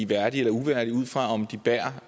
værdige eller uværdige ud fra om de bærer